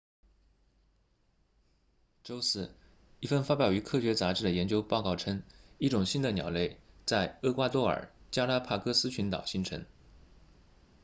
周四一份发表于科学杂志的研究报告称一种新的鸟类在厄瓜多尔加拉帕戈斯群岛形成